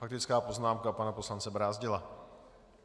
Faktická poznámka pana poslance Brázdila.